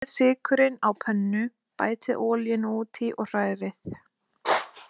Brúnið sykurinn á pönnu, bætið olíunni út í og hrærið.